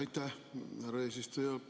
Aitäh, härra eesistuja!